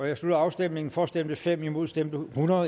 jeg slutter afstemningen for stemte fem imod stemte hundrede